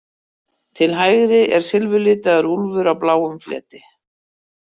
Til hægri er silfurlitaður úlfur á bláum fleti.